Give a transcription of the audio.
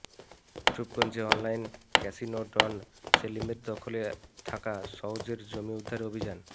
রূপগঞ্জে online casino don সেলিমের দখলে থাকা সওজের জমি উদ্ধারে অভিযান